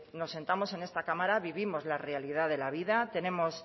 nos sentamos en esta cámara vivimos la realidad de la vida tenemos